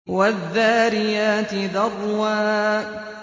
وَالذَّارِيَاتِ ذَرْوًا